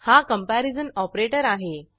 हा comparison operator आहे